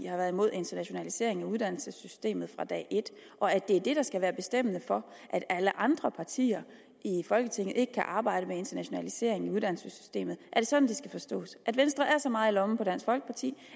har været imod internationaliseringen af uddannelsessystemet fra dag et og at det er det der skal være bestemmende for at alle andre partier i folketinget ikke kan arbejde med internationaliseringen i uddannelsessystemet er det sådan det skal forstås at venstre er så meget i lommen på dansk folkeparti